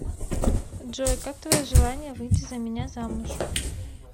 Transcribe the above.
джой как твое желание выйти за меня замуж